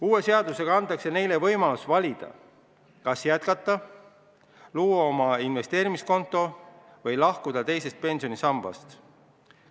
Uue seadusega antaks neile võimalus valida, kas jätkata, luua oma investeerimiskonto või lahkuda teisest pensionisambast.